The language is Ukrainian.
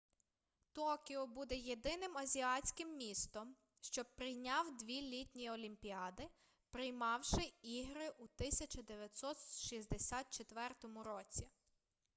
токіо буде єдиним азіатським містом що прийняв дві літні олімпіади приймавши ігри у 1964 році